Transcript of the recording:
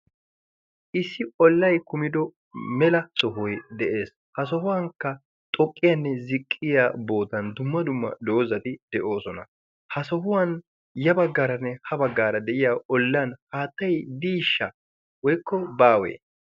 issi ollay kumido mela sohoy de'ees ha sohuwankka xooqqiyaanne ziqqiya bootan dumma dumma doozati de'oosona ha sohuwan ya baggaaranne ha baggaara de'iya ollan haattay diishsha woykko baawee